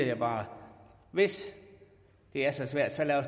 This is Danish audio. jeg bare hvis det er så svært så lad